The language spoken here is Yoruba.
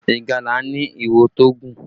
Ìgalà ni ìwo tó gùn